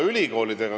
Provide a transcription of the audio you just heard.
Infotund on lõppenud.